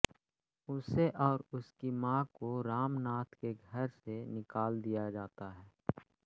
उसे और उसकी मां को रामनाथ के घर से निकाल दिया जाता है